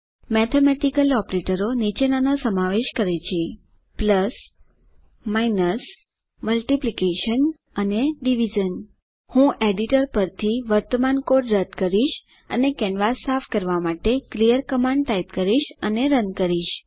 mathematical ઓપરેટરો નીચેનાનો સમાવેશ કરે છે સરવાળો બાદબાકી ગુણાકાર અને ભાગાકાર હું એડિટર પરથી વર્તમાન કોડ રદ કરીશ અને કેનવાસ સાફ કરવા માટે ક્લિયર કમાન્ડ ટાઇપ કરીશ અને રન કરીશ